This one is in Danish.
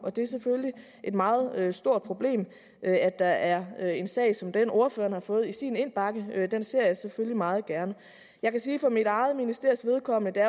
og det er selvfølgelig et meget stort problem at der er er en sag som den ordføreren har fået i sin indbakke den ser jeg selvfølgelig meget gerne jeg kan sige for mit eget ministeries vedkommende at det